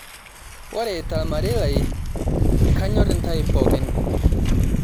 Ore tormarei lai, kanyor intae pookin